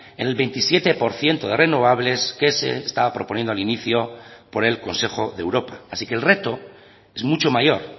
en el veintisiete por ciento de renovables que se estaba proponiendo al inicio por el consejo de europa así que el reto es mucho mayor